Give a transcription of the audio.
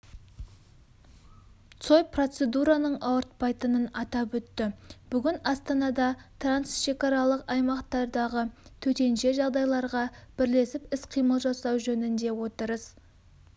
цой процедураның ауыртпайтынын атап өтті бүгін астанада трансшекаралық аймақтардағы төтенші жағдайларға бірлесіп іс-қимыл жасау жөнінде отырыс